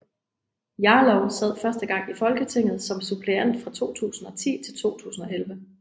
Jarlov sad første gang i Folketinget som suppleant fra 2010 til 2011